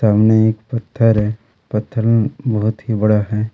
सामने एक पत्थर है पत्थर में बहुत ही बड़ा है।